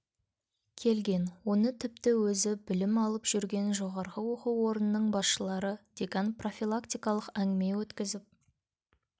келген оны тіпті өзі білім алып жүрген жоғарғы оқу орнының басшылары декан профилактикалық әңгіме өткізіп